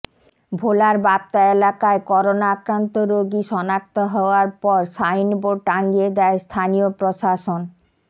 ভোলার বাপ্তা এলাকায় করোনা আক্রান্ত রোগী শনাক্ত হওয়ার পর সাইনবোর্ড টাঙিয়ে দেয় স্থানীয় প্রশাসন